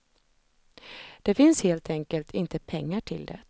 Det finns helt enkelt inte pengar till det.